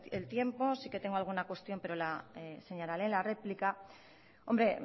el tiempo sí que tengo alguna cuestión pero lo señalaré en la réplica hombre